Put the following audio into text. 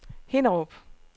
Hinnerup